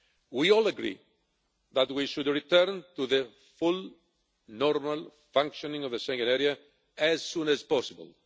We all agree that we should return to the full, normal functioning of the Schengen Area as soon as possible.